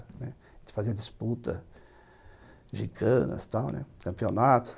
Né, a gente fazia disputas gigantes, campeonatos.